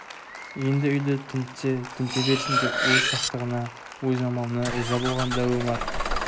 енді үйді тінтсе тінте берсін деп өз сақтығына өз амалына риза болған дәу омар